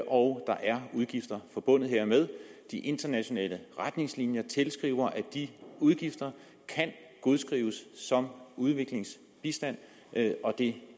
og der er udgifter forbundet hermed de internationale retningslinjer tilskriver at de udgifter kan godskrives som udviklingsbistand og det